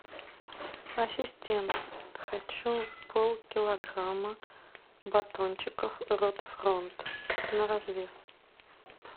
ассистент хочу полкилограмма батончиков рот фронт на развес